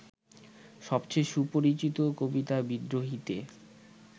সবচেয়ে সুপরিচিত কবিতা বিদ্রোহীতে